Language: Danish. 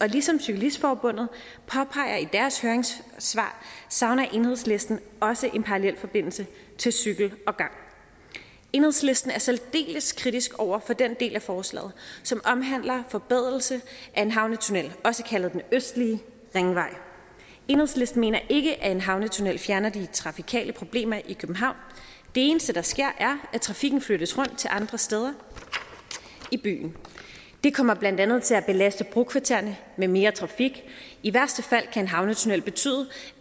ligesom cyklistforbundet påpeger i deres høringssvar savner enhedslisten også en parallel forbindelse til cykel og gang enhedslisten er særdeles kritisk over for den del af forslaget som omhandler forbedring af en havnetunnel også kaldet østlig ringvej enhedslisten mener ikke at en havnetunnel fjerner de trafikale problemer i københavn det eneste der sker er at trafikken flyttes rundt til andre steder i byen det kommer blandt andet til at belaste brokvartererne med mere trafik i værste fald kan en havnetunnel betyde